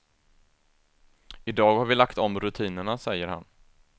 I dag har vi lagt om rutinerna, säger han.